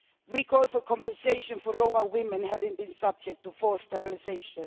We call for compensation for Roma women having been subject to forced sterilisation.